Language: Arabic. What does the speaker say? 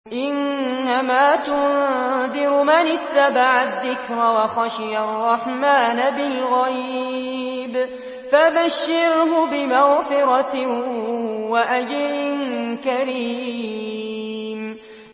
إِنَّمَا تُنذِرُ مَنِ اتَّبَعَ الذِّكْرَ وَخَشِيَ الرَّحْمَٰنَ بِالْغَيْبِ ۖ فَبَشِّرْهُ بِمَغْفِرَةٍ وَأَجْرٍ كَرِيمٍ